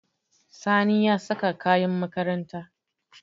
Sani ya saka kayan makaranta.